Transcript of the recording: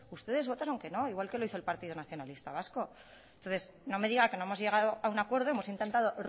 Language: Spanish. ustedes votaron que no igual que lo hizo el partido nacionalista vasco entonces no me diga que no hemos llegado a un acuerdo hemos intentado